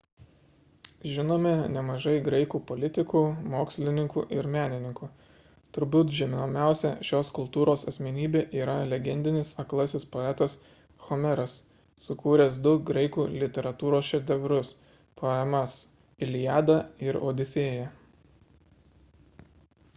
žinome nemažai graikų politikų mokslininkų ir menininkų turbūt žinomiausia šios kultūros asmenybė yra legendinis aklasis poetas homeras sukūręs du graikų literatūros šedevrus poemas iliada ir odisėja